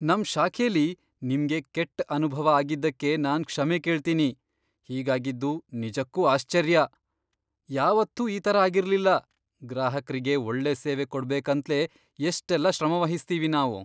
ನಮ್ ಶಾಖೆಲಿ ನಿಮ್ಗೆ ಕೆಟ್ಟ್ ಅನುಭವ ಆಗಿದ್ದಕ್ಕೆ ನಾನ್ ಕ್ಷಮೆ ಕೇಳ್ತೀನಿ. ಹೀಗಾಗಿದ್ದು ನಿಜಕ್ಕೂ ಆಶ್ಚರ್ಯ! ಯಾವತ್ತೂ ಈ ಥರ ಆಗಿರ್ಲಿಲ್ಲ. ಗ್ರಾಹಕ್ರಿಗೆ ಒಳ್ಳೆ ಸೇವೆ ಕೊಡ್ಬೇಕಂತ್ಲೇ ಎಷ್ಟೆಲ್ಲ ಶ್ರಮವಹಿಸ್ತೀವಿ ನಾವು!